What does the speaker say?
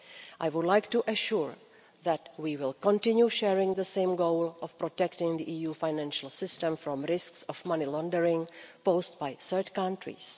I would like to assure you that we will continue sharing the same goal of protecting the EU financial system from risks of money laundering posed by third countries.